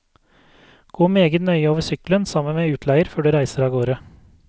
Gå meget nøye over sykkelen sammen med utleier før du reiser avgårde.